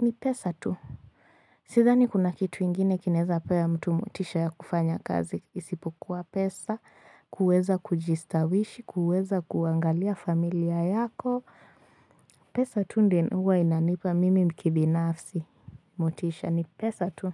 ni pesa tu. Sithani kuna kitu ingine kinaeza pea ya mtu motisha ya kufanya kazi isipokuwa pesa kuweza kujistawishi kuweza kuangalia familia yako pesa tu ndio huwa inanipa mimi kibinafsi motisha ni pesa tu.